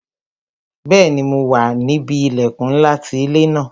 Bẹẹni, mo wà níbi ilẹkun ńlá ti ilé ńlá